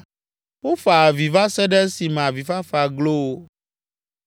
wofa avi va se ɖe esime avifafa glo wo.